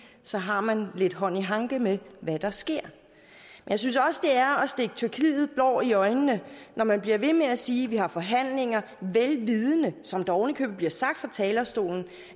så har man lidt hånd i hanke med hvad der sker jeg synes også det er at stikke tyrkiet blår i øjnene når man bliver ved med at sige man har forhandlinger vel vidende som det ovenikøbet bliver sagt fra talerstolen